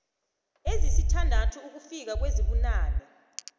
ezisithandathu ukufika kwezibunane